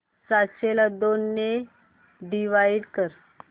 सातशे ला दोन ने डिवाइड कर